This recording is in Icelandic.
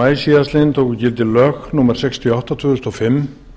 maí síðastliðnum tóku gildi lög númer sextíu og átta tvö þúsund og fimm